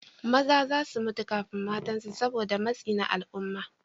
Maza za su mutu kafin matansu saboda matsi na al'umma.